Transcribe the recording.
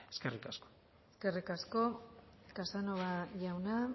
eskerrik asko eskerrik asko casanova jauna